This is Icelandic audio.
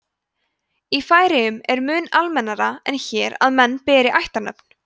í færeyjum er mun almennara en hér að menn beri ættarnöfn